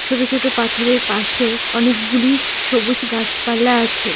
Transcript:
ছোট ছোট পাথর - এর পাশে অনেক গুলি সবুজ গাছপালা আছে।